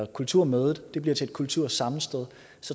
kulturmødet bliver til et kultursammenstød